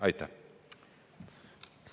Aitäh!